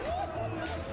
Baxın, baxın!